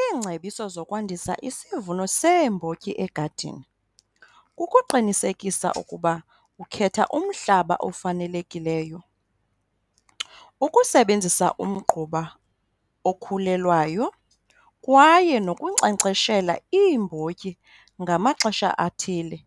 Iingcebiso zokwandisa isivuno seembotyi egadini kukuqinisekisa ukuba ukhetha umhlaba ofanelekileyo, ukusebenzisa umgquba okhulelwayo kwaye nokunkcenkceshela iimbotyi ngamaxesha athile,